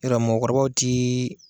Yɔrɔ mɔgɔ kɔrɔbaw ti